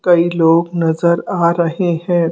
कई लोग नजर आ रहे हैं।